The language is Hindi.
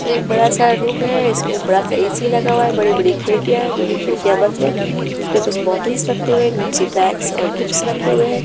एक बड़ा सा रुम है इसमें बड़ा सा ए_सी लगा हुआ है बड़ी बड़ी खिड़कियां जोकि खिड़कियां बंद हैं उसमे कुछ बॉटल्स रखे हुए हैं नीचे बैग्स और बुक्स रखे हुए हैं।